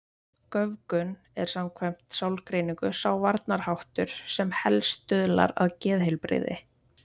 Göfgun er samkvæmt sálgreiningu sá varnarháttur sem helst stuðlar að geðheilbrigði.